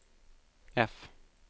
F